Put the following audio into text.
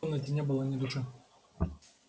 в комнате не было ни души